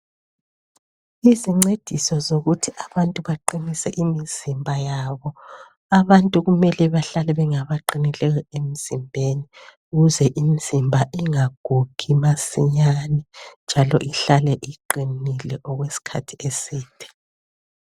Izincediso zokuthi abantu baqinise imizimba yabo abantu kumele bahlale bengabaqinileyo emzimbeni ukuze imizimba ingagugi masinyane njalo ihlale iqinile okwesikhathi eside.